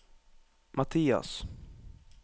Matias